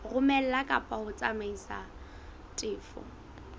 romela kapa ho tsamaisa tefo